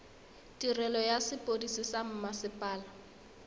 tirelo ya sepodisi sa mmasepala